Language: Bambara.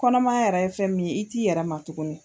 Kɔnɔma yɛrɛ ye fɛn min ye, i t'i yɛrɛ ma tugunni.